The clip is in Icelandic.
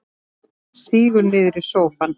Sígur niður í sófann.